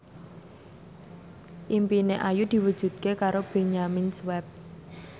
impine Ayu diwujudke karo Benyamin Sueb